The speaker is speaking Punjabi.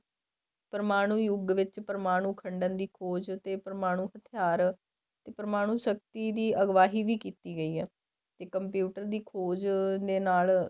ਪਰਮਾਣੂ ਯੁੱਗ ਵਿੱਚ ਪਰਮਾਣੂ ਖੰਡਨ ਦੀ ਖ਼ੋਜ ਤੇ ਪਰਮਾਣੂ ਹਥਿਆਰ ਤੇ ਪਰਮਾਣੂ ਸ਼ਕਤੀ ਦੀ ਅਗਵਾਈ ਵੀ ਕੀਤੀ ਗਈ ਹੈ ਤੇ computer ਦੀ ਖ਼ੋਜ ਦੇ ਨਾਲ